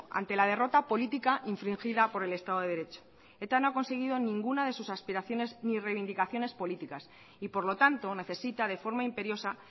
ante la derrota política infringida por el estado de derecho eta no ha conseguido ninguna de sus aspiraciones ni reivindicaciones políticas y por lo tanto necesita de forma imperiosa